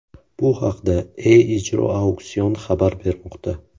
Bu haqda E-ijro auksion xabar bermoqda.